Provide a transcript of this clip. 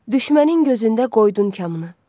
Düşmənin gözündə qoydun kamını.